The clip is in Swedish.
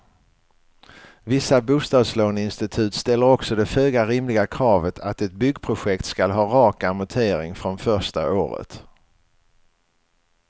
Vissa bostadslåneinstitut ställer också det föga rimliga kravet att ett byggprojekt skall ha rak amortering från första året.